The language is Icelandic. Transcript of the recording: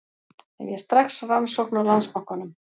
Hefja strax rannsókn á Landsbankanum